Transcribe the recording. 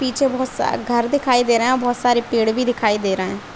पीछे बहोत सारे घर दिखाए दे रहे हैं और बहोत सारा पेड़ भी दिखाए दे रहे हैं ।